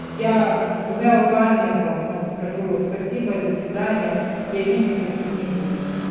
я двумя руками там ну скажу спасибо и до свидания и обид никаких не будет